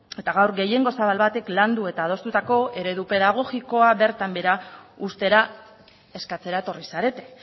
eta gaur gehiengo zabal batek landu eta adostutako eredu pedagogikoa bertan behera uztera eskatzera etorri zarete